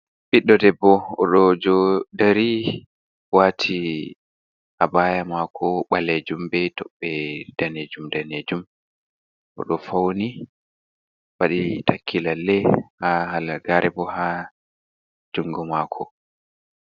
Ɓiddo debbo odo jo dari wati abaya mako ɓalejum be toɓɓe danejum danejum oɗo fauni waɗi takki lalle ha halagare bo ha jungo mako.